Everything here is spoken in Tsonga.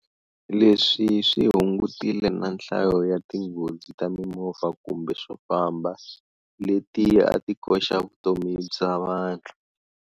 Leswi swi hungutile na nhlayo ya tinghozi ta mimovha kumbe swofamba leti a ti koxa vutomi bya vanhu.